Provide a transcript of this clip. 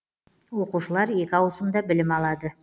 оқушылар екі ауысымда білім алады